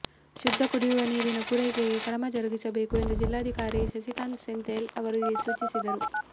ಶುದ್ಧ ಕುಡಿಯುವ ನೀರಿನ ಪೂರೈಕೆಗೆ ಕ್ರಮ ಜರುಗಿಸಬೇಕು ಎಂದು ಜಿಲ್ಲಾಧಿಕಾರಿ ಸಸಿಕಾಂತ್ ಸೆಂಥಿಲ್ ಅವರಿಗೆ ಸೂಚಿಸಿದರು